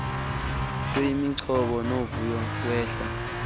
kuyimigcobo novuyo wehla